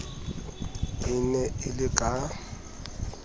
e ne e le ka